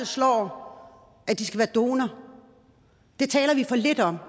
slår at de skal være donorer det taler vi for lidt om